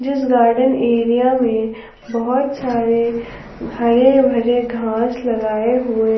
इस garden area में बहुत सारे हरे भरे घास लगाए हुए--